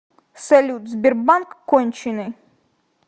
салют сбербанк конченый